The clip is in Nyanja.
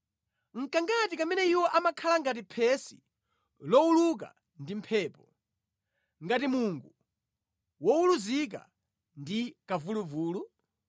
Nʼkangati kamene iwo amakhala ngati phesi lowuluka ndi mphepo, ngati mungu wowuluzika ndi kamvuluvulu?